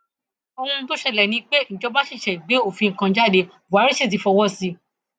ohun tó ṣẹlẹ ni pé ìjọba ṣẹṣẹ gbé òfin kan jáde buhari sí ti fọwọ sí i